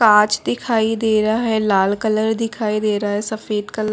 काँच दिखाई दे रहा है लाल कलर दिखाई दे रहा है सफेद कलर --